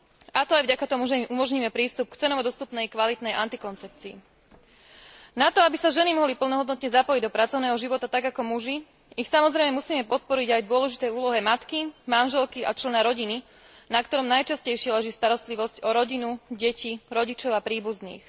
A to aj vďaka tomu, že im umožníme prístup k cenovo dostupnej kvalitnej antikoncepcii. Na to, aby sa ženy mohli plnohodnotne zapojiť do pracovného života tak ako muži, ich samozrejme musíme podporiť aj v dôležitej úlohe matky, manželky a člena rodiny, na ktorom najčastejšie leží starostlivosť o rodinu, deti, rodičov a príbuzných.